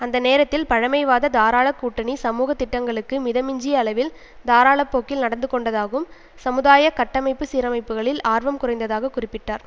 அந்த நேரத்தில் பழமைவாத தாராள கூட்டணி சமூக திட்டங்களுக்கு மிதமிஞ்சிய அளவில் தாராள போக்கில் நடந்து கொண்டதாகும் சமுதாய கட்டமைப்பு சீரமைப்புகளில் ஆர்வம் குறைந்ததாக குறிப்பிட்டார்